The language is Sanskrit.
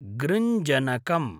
गृञ्जनकम्